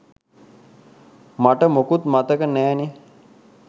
මට මුකුත් මතක නෑනෙ